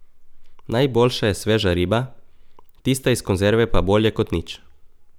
Najboljša je sveža riba, tista iz konzerve pa bolje kot nič.